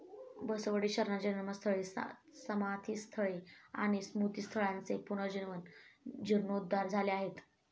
बसवडी शरणांची जन्मस्थळे, समाधिस्थळे आणी स्मृतिस्थळांचे पुनर्जीवन जिर्णोद्धार झाले आहेत.